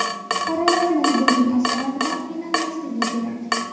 Fuqarolarimiz buning asoratidan qiynalmasligi kerak.